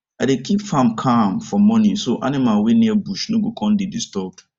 i dey keep farm calm for morning so animal wey near bush no go con dey disturbed